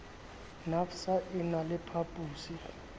nafvsa e na le phaposi